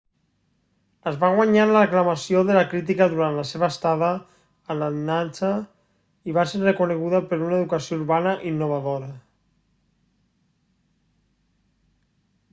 es va guanyar l'aclamació de la crítica durant la seva estada a atlanata i va ser reconeguda per una educació urbana innovadora